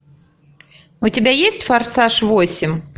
у тебя есть форсаж восемь